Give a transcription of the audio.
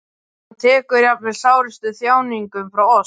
Hann tekur jafnvel sárustu þjáninguna frá oss.